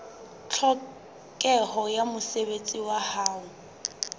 tlhokeho ya mosebetsi wa ho